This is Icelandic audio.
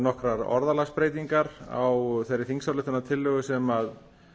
nokkrar orðalagsbreytingar á þeirri þingsályktunartillögu sem